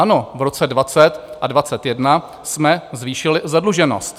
Ano, v roce 2020 a 2021 jsme zvýšili zadluženost.